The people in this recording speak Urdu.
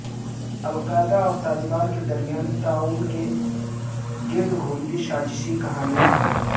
القاعدہ اور طالبان کے درمیان تعاون کے گرد گھومتی سازشی کہانیاں